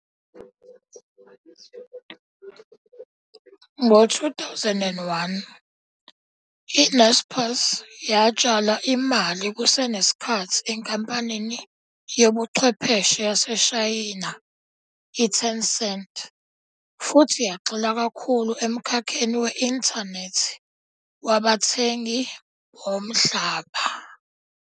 Ngo-2001, i-Naspers yatshala imali kusenesikhathi enkampanini yobuchwepheshe yaseShayina i- Tencent futhi yagxila kakhulu emkhakheni we-inthanethi wabathengi bomhlaba.